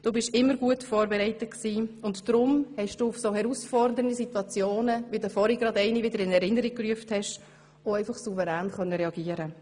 Du warst immer gut vorbereitet, und deshalb konntest du auch auf solch herausfordernden Situationen, wie du sie vorhin gerade wieder in Erinnerung gerufen hast, auch einfach souverän reagieren.